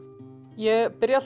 ég byrja